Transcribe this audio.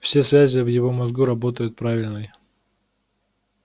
все связи в его мозгу работают правильной